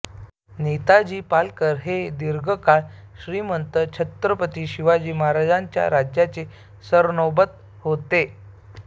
नेताजी पालकर हे दीर्घ काळ श्रीमंत छत्रपती शिवाजी महाराजांच्या राज्याचे सरनौबत होते